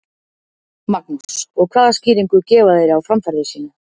Magnús: Og hvaða skýringu gefa þeir á framferði sínu?